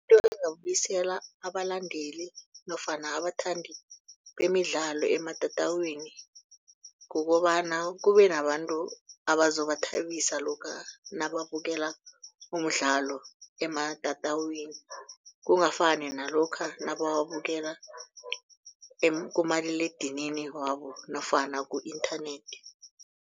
engabuyisela abalandeli nofana abathandi bemidlalo ematatawini. Kukobana kube nabantu abazobathabisa lokha nababukela umdlalo ematatawini. Kungafani nalokha nabawabukela kumaliledinini wabo nofana ku-internet.